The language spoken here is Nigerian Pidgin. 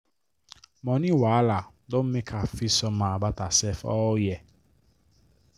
money wahala don make her feel somehow about herself all year.